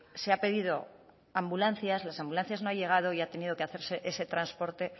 se ha pedido ambulancias las ambulancias no han llegado y ha tenido que hacerse ese transporte